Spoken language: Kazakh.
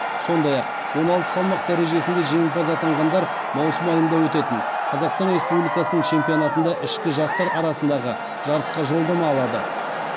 сондай ақ он алты салмақ дәрежесінде жеңімпаз атанғандар маусым айында өтетін қазақстан республикасының чемпионатында ішкі жастар арасындағы жарысқа жолдама алады